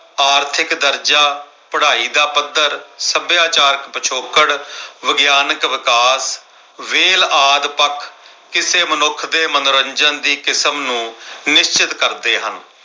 ਆਰਥਿਕ ਦਰਜਾ, ਪੜਾਈ ਦਾ ਪੱਧਰ, ਸੱਭਿਆਚਾਰ ਪਿਛੋਕੜ, ਵਿਗਿਆਨਕ ਵਿਕਾਸ ਵੇਲ ਆਦਿ ਪੱਖ ਕਿਸੇ ਮਨੁੱਖ ਦੇ ਮਨੋਰੰਜਨ ਦੀ ਕਿਸਮ ਨੂੰ ਨਿਸ਼ਚਤ ਕਰ ਦੇ ਹਾਂ।